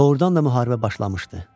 Doğrudan da müharibə başlamışdı.